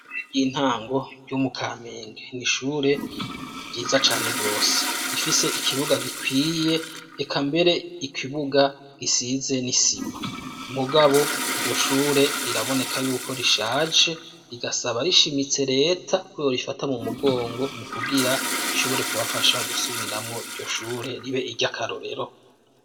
Iry'intango ryo mukaminge ni ishure ryiza cane gose rifise ikibuga gikwiye reka mbere ikibuga gisize n'isima mugabo iryo shure riraboneka yuko rishaje rigasaba rishimitse leta ko iro rifata mu mugongo mu kubwira ishobore kubafasha gusubiramo iryo shure ribe iry'akarorero.